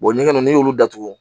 ɲɛgɛn n'i y'olu datugu